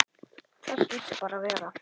Það hlýtur bara að vera.